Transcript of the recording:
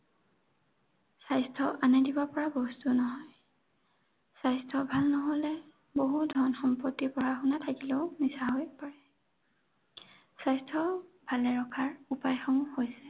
স্বাস্থ্য আনে দিব পৰা বস্তু নহয়। স্বাস্থ্য ভাল নহ'লে বহু ধন সম্পত্তি, পঢ়া শুনা থাকিলেও মিছা হৈ পৰে। স্বাস্থ্য ভালে ৰখাৰ উপায়সমূহ হৈছে